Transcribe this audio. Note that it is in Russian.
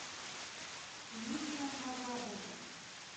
нина вагабова